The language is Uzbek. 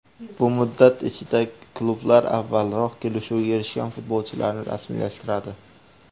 Bu muddat ichida klublar avvalroq kelishuvga erishgan futbolchilarni rasmiylashtiradi.